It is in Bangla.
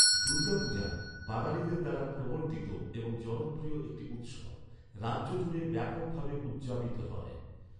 দুর্গা পূজা, বাঙালিদের দ্বারা প্রবর্তিত এবং জনপ্রিয় একটি উৎসব, রাজ্য জুড়ে ব্যাপকভাবে উদযাপিত হয়।